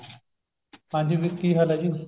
ਹਾਂਜੀ ਵੀਰ ਕੀ ਹਾਲ ਹੈ ਜੀ